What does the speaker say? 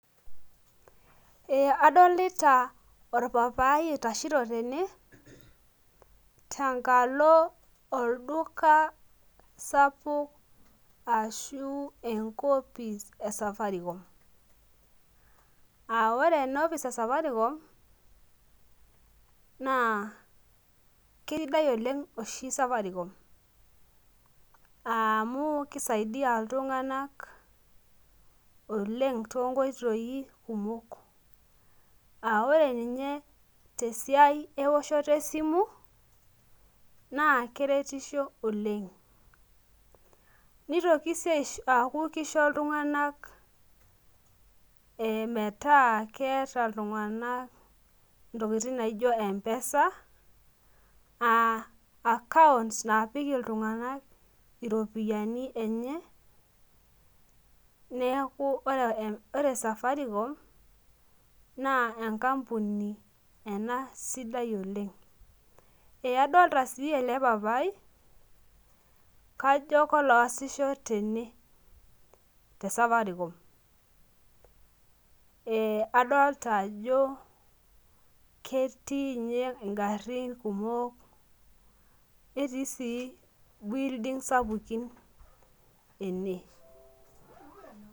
Ee adolita orpapai oitashito tene tenkalo olduka sapuk ashu enkopis e safaricom.aa ore ena office e safaricom naa kisidai oleng oshi safaricom amu kisaidia iltunganak oleng too nkoitoi kumok.aa ore ninye tesiai eoshoto esimu naa keretisho Oleng. nitoki sii aaku kisho iltunganak ee metaa keeta iltui entokitin naijo mpesa accounts naapik iltunganak iropiyiani enye. neeku ore safaricom naa enkampuni ena sidai Oleng. adoolta sii ele papai, kajo koloosisho tene te safaricom.ee adolita ajo ketii ninye garin kumok, netii sii building sapukin ene.